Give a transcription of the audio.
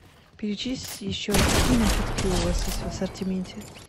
перечислите еще раз какие напитки у вас есть в ассортименте